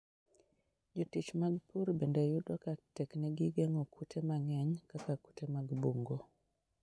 Jotich mag pur bende yudo ka teknegi geng'o kute mang'eny kaka kute mag bungu.